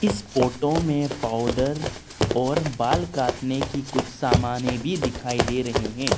इस फोटो में पाउडर और बाल काटने की कुछ समाने भी दिखाई दे रहे हैं।